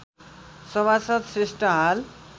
सभासद श्रेष्ठ हाल